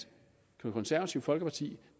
det konservative folkeparti